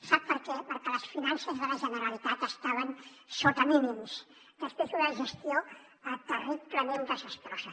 sap per què perquè les finances de la generalitat estaven sota mínims després d’una gestió terriblement desastrosa